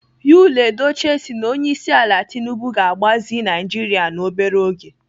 Yul Edochie si na Onyeisiala Tinubu ga-agbazi Naijiria n'obere oge.